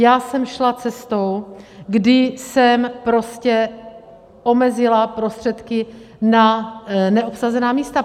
Já jsem šla cestou, kdy jsem prostě omezila prostředky na neobsazená místa.